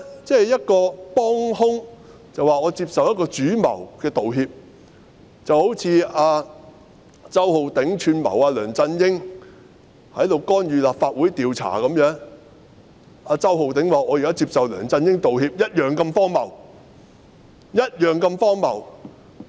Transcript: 這等於一名幫兇說接受主謀的道歉，正如周浩鼎議員串謀梁振英干預立法會調查，周浩鼎議員說現在接受梁振英道歉一樣那麼荒謬。